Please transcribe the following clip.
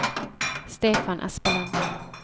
Stefan Espeland